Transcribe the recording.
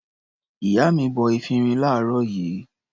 Ìyá mi bọ efirin láàárọ̀ yìí.